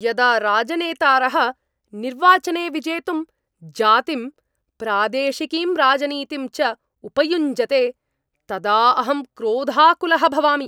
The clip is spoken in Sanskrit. यदा राजनेतारः निर्वाचने विजेतुं जातिं, प्रादेशिकीं राजनीतिं च उपयुञ्जते तदा अहं क्रोधाकुलः भवामि।